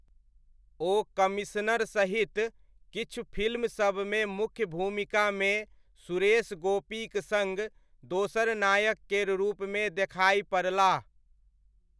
ओ commissioner सहित किछु फिल्मसबमे मुख्य भूमिकामे सुरेश गोपीक सङ्ग दोसर नायक केर रूपमे देखाइ पड़लाह।